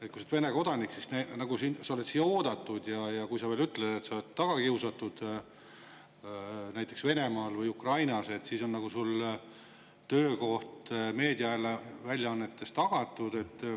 Et kui sa oled Vene kodanik, siis sa oled siia oodatud, ja kui sa veel ütled, et sa oled tagakiusatud näiteks Venemaal või Ukrainas, siis on sulle töökoht meediaväljaannetes tagatud.